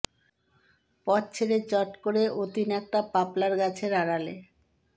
পথ ছেড়ে চট করে অতীন একটা পপলার গাছের আড়ালে